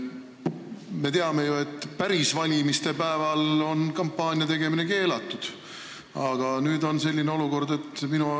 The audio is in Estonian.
Me teame ju, et päris valimiste päeval on kampaania tegemine keelatud, aga nüüd on siis selline olukord.